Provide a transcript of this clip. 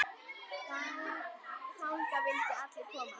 Þangað vildu allir koma.